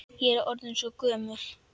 Ég er orðin svo gömul.